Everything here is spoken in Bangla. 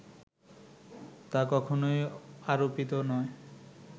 তা কখনোই আরোপিত নয়